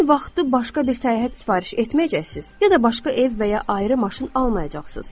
Həmin vaxtı başqa bir səyahət sifariş etməyəcəksiz, ya da başqa ev və ya ayrı maşın almayacaqsınız.